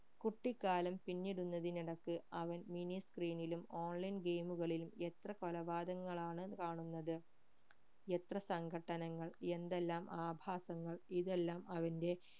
കുട്ടിക്കാലം പിന്നിടുന്നതിനിടയിക്ക് അവൻ mini screen ലും online game കളിലും എത്ര കൊലപാതകങ്ങളാണ് കാണുന്നത് എത്ര സങ്കട്ടനങ്ങൾ എന്തെല്ലാം ആഭാസങ്ങൾ ഇതെല്ലം അവന്റെ